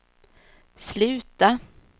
sluta